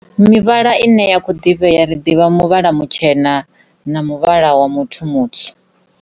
Mivhala ine ya kho ḓivhea ri ḓivha muvhala mutshena na muvhala wa muthu mutsu.